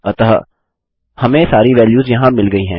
अतः हमें सारी वैल्यूस यहाँ मिल गयी हैं